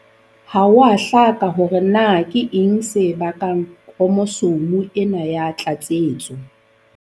Ha ho a hlaka hore na keng se bakang khromosome ena ya tlatsetso.